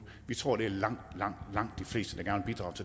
vi tror det er langt langt langt de fleste